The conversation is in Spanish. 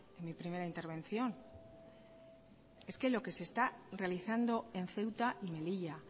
en mi primera intervención es que lo que se está realizando en ceuta y melilla